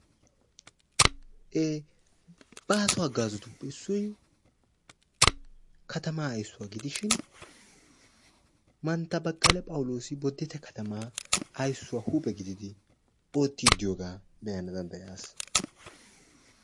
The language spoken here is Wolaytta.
ee baaso hagaazzatuppe iissoy tamaa ayssuwa gidishin mantta baqala phawuloosi boditte katama aysuwassi huuphe gididi otiidi diyooga be'ana danddayaas.